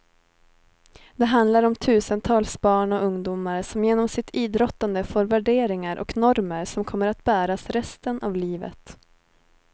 Det handlar om tusentals barn och ungdomar som genom sitt idrottande får värderingar och normer som kommer att bäras resten av livet.